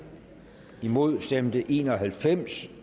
imod stemte en og halvfems